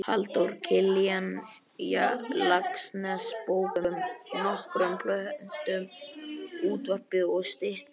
Halldór Kiljan Laxness bókum, nokkrum plöntum, útvarpi og styttum.